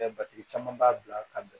Ɛɛ caman b'a bila ka bɛn